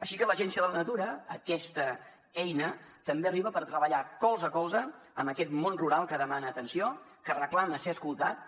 així que l’agència de la natura aquesta eina també arriba per treballar colze a colze amb aquest món rural que demana atenció que reclama ser escoltat